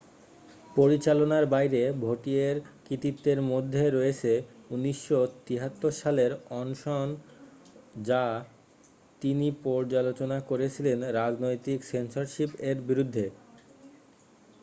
পরিচালনার বাইরে ভৌটিয়ের কৃতিত্বের মধ্যে রয়েছে 1973 সালের অনশনও যা তিনি পর্যালোচনা করেছিলেন রাজনৈতিক সেন্সরশিপ এর বিরুদ্ধে